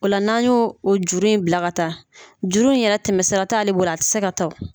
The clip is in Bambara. O la n'an yo o juru in bila ka taa juru in yɛrɛ tɛmɛ sira t'ale bolo a tɛ se ka taa o.